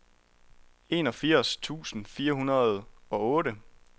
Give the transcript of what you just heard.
enogfirs tusind fire hundrede og otte